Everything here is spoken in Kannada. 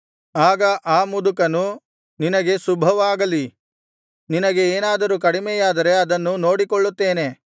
ಆಗ ಆ ಮುದುಕನು ನಿನಗೆ ಶುಭವಾಗಲಿ ನಿನಗೆ ಏನಾದರೂ ಕಡಿಮೆಯಾದರೆ ಅದನ್ನು ನೋಡಿಕೊಳ್ಳುತ್ತೇನೆ